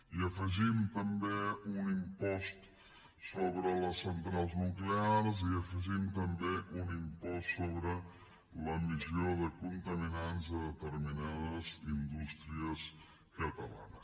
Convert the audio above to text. i afegim també un impost sobre les centrals nuclears i afegim també un impost sobre l’emissió de contaminants a determinades indústries catalanes